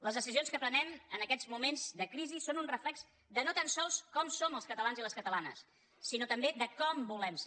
les decisions que prenem en aquests moments de crisi són un reflex de no tan sols com som els catalans i les catalanes sinó també de com volem ser